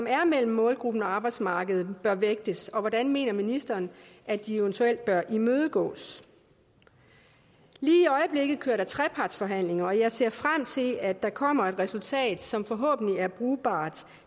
er mellem målgruppen og arbejdsmarkedet bør vægtes og hvordan mener ministeren at de eventuelt bør imødegås lige i øjeblikket kører der trepartsforhandlinger og jeg ser frem til at der kommer et resultat som forhåbentlig er brugbart